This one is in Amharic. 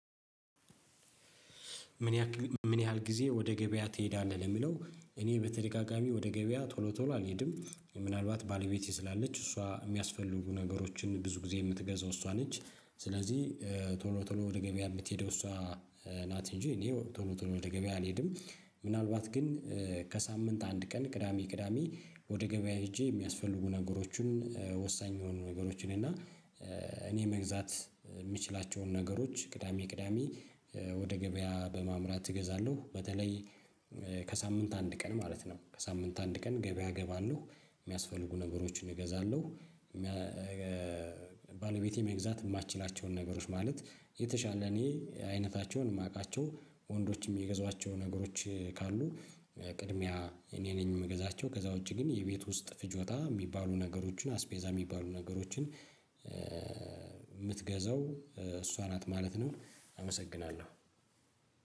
ምን ያህል ምን ያህል ጊዜ ወደ ገበያ ትሄዳለህ? ለሚለው እኔ በተደጋጋሚ ወደ ገበያ ቶሎ ቶሎ አልሄድም ምናልባት ባለቤቴ ስላለች እሷ የሚያስፈልጉ ነገሮችን ብዙ ጊዜ የምትገዛው እሷ ነች ስለዚህ ቶሎ ቶሎ ወደ ገበያ የምትሄደው እሷ ናት እንጂ እኔ ቶሎ ቶሎ ወደ ገበያ አልሄድም። ምናልባት ግን ከሳምንት አንድ ቀን ቅዳሜ ቅዳሜ ወደ ገበያ ሄጄ የሚያስፈልጉ ነገሮችን ወሳኝ የሆኑ ነገሮችን እና እኔ መግዛት የምችላቸውን ነገሮች ቅዳሜ ቅዳሜ ወደ ገበያ በማምራት እገዛለሁ። በተለይ ከሳምንት አንድ ቀን ማለት ነው ከሳምንት አንድ ቀን ገበያ እገባለሁ የሚያስፈልጉ ነገሮችን እገዛለሁ። ባለቤቴ መግዛት የማትችላቸውን ነገሮች ማለት የተሻለ እኔ አይነታቸውን የማውቃቸው ወንዶችም የገዟቸው ነገሮች ካሉ ቅድሚያ እኔ ነኝ የምገዛቸው። ከዛ ውጪ ግን የቤት ውስጥ ፍጆታ የሚባሉ ነገሮችን አስቤዛ የሚባሉ ነገሮችን የምትገዛው እሷ ናት ማለት ነው። አመሰግናለሁ